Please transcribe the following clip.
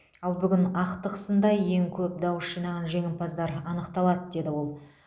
ал бүгін ақтық сында ең көп дауыс жинаған жеңімпаздар анықталады деді ол